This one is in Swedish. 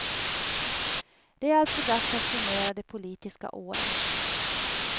Det är alltså dags att summera det politiska året.